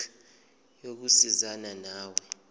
desk yokusizana nawe